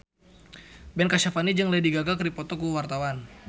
Ben Kasyafani jeung Lady Gaga keur dipoto ku wartawan